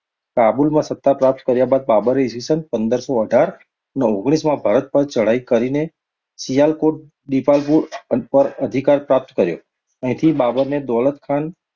કાબુલ માં સતા પ્રપ્ત કર્યા બાદ બાબરે ઈ. સ. પંદરસો અઢાર અને ઓગણીસ માં ભારત પાર ચડાઈ કરીને, સિયાલકોટ, દીપાલપુર પાર અધિકાર પ્રપ્ત કર્યો. અહીંથી બાબરને દોલતખાન